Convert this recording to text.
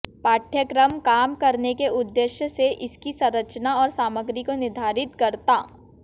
पाठ्यक्रम काम करने के उद्देश्य से इसकी संरचना और सामग्री को निर्धारित करता